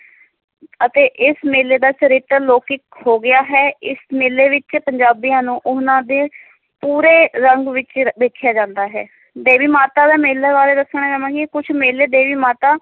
ਅਤੇ ਇਸ ਮੇਲੇ ਦਾ ਚਰਿੱਤਰ ਲੋਕਿਕ ਹੋ ਗਿਆ ਹੈ, ਇਸ ਮੇਲੇ ਵਿੱਚ ਪੰਜਾਬੀਆਂ ਨੂੰ ਉਹਨਾਂ ਦੇ ਪੂਰੇ ਰੰਗ ਵਿੱਚ ਵੇਖਿਆ ਜਾਂਦਾ ਹੈ, ਦੇਵੀ ਮਾਤਾ ਦੇ ਮੇਲੇ ਬਾਰੇ ਦੱਸਣਾ ਚਾਹਾਂਗੀ, ਕੁਛ ਮੇਲੇ ਦੇਵੀ ਮਾਤਾ